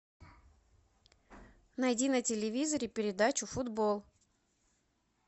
найди на телевизоре передачу футбол